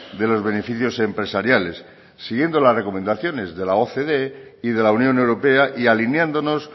de los beneficios empresariales siguiendo las recomendaciones de la ocde y de la unión europea y alineándonos